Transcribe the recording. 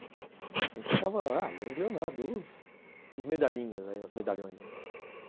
A gente tocava... Ah, Leandro e Leonardo, os medalhinhas aí, os medalhões, né?